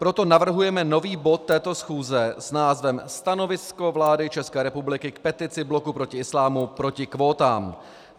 Proto navrhujeme nový bod této schůze s názvem Stanovisko vlády České republiky k petici Bloku proti islámu proti kvótám.